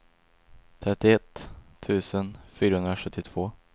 trettioett tusen fyrahundrasjuttiotvå